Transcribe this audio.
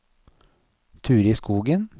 Turid Skogen